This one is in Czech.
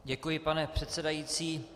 Děkuji, pane předsedající.